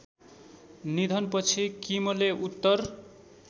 निधनपछि किमले उत्तर